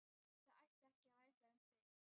Það ætti ekki að væsa um þig.